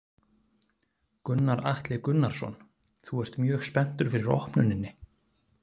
Gunnar Atli Gunnarsson: Þú ert mjög spenntur fyrir opnuninni?